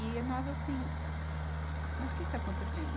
E nós assim... Mas o que está acontecendo?